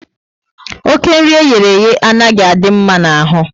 Oké nri eyereye anaghị adị mma n'ahụ